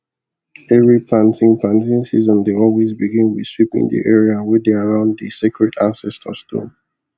every planting planting season dey always begin with sweeping the area wey dey around the sacred ancestor stone